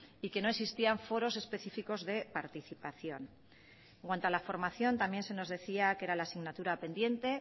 y que no existían foros específicos de participación en cuanto a la formación también se nos decía que era la asignatura pendiente